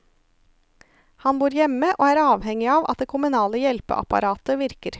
Han bor hjemme og er avhengig av at det kommunale hjelpeapparatet virker.